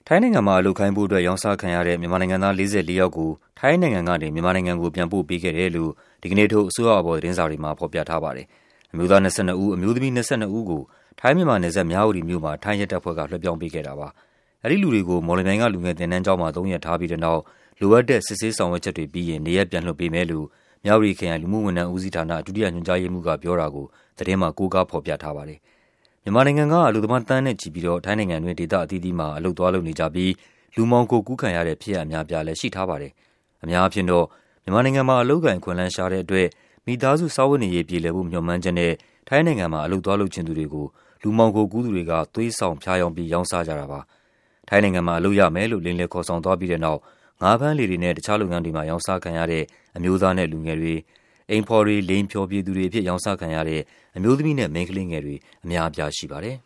ထိုင်းနိုင်ငံမှာ အလုပ်ခိုင်းဖို့အတွက် ရောင်းစားခံရတဲ့ မြန်မာနိုင်ငံသား ၄၄ ယောက်ကို ထိုင်းနိုင်ငံကနေ မြန်မာနိုင်ငံကို ပြန်ပို့ပေးခဲ့ တယ်လို့ ဒီကနေ့ထုတ် အစိုးရအာဘော် သတင်းစာတွေမှာ ဖော်ပြထားပါတယ်။ အမျိုးသား ၂၂ ဦး၊ အမျိုးသမီး ၂၂ ဦးကို ထိုင်း-မြန်မာနယ်စပ် မြဝတီမြို့မှာ ထိုင်းရဲတပ်ဖွဲ့က လွှဲပြောင်းပေးခဲ့တာပါ။ အဲဒီလူတွေကို မော်လမြိုင်က လူငယ်သင်တန်းကျောင်းမှာ သုံးရက်ထားပြီးတဲ့နောက် လိုအပ်တဲ့ စစ်ဆေး ဆောင်ရွက်ချက်တွေပေးရင် နေရပ် ပြန်လွှတ်ပေးမယ်လို့ မြဝတီခရိုင်၊ လူမှုဝန်ထမ်းဦးစီးဌာန၊ ဒုတိယညွှန်ကြားရေးမှူးက ပြောတာကို သတင်းမှာ ကိုးကားဖော်ပြထား ပါတယ်။ မြန်မာနိုင်ငံက အလုပ်သမား သန်းနဲ့ချီပြီးတော့ ထိုင်းနိုင်ငံတွင်း ဒေသအသီးသီးမှာ အလုပ်သွားလုပ်နေကြပြီး လူမှောင်ခိုကူးခံရတဲ့ ဖြစ်ရပ်အများအပြားလဲ ရှိထားပါတယ်။ အများအားဖြင့်တော့ မြန်မာနိုင်ငံမှာ အလုပ်အကိုင် အခွင့်အလန်းရှားတဲ့အတွက် မိသားစု စားဝတ်နေရေးပြေလည်ဖို့ မျှော်မှန်းချက်နဲ့ ထိုင်းနိုင်ငံမှာ အလုပ်သွားလုပ်ချင်သူတွေကို လူမှောင်ခိုကူးသူတွေက သွားဆောင် ဖြားယောင်းပြီး ရောင်းစားကြတာပါ။ ထိုင်းနိုင်ငံမှာ အလုပ်ရမယ်လို့ လိမ်လည်ခေါ်ဆောင်သွားပြီးတဲ့နောက် ငါးဖမ်းလှေတွေနဲ့ တခြားလုပ်ငန်းတွေမှာ ရောင်းစားခံရတဲ့ အမျိုးသားနဲ့လူငယ်တွေ၊ အိမ်ဖော်တွေ၊ လိင်ဖျော်ဖြေသူတွေအဖြစ် ရောင်းစားခံရတဲ့ အမျိုးသမီးနဲ့ မိန်းကလေးတွေ အများအပြား ရှိပါတယ်